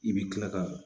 I bɛ kila ka